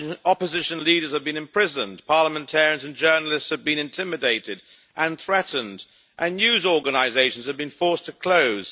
Opposition leaders have been imprisoned, parliamentarians and journalists have been intimidated and threatened, and news organisations has been forced to close.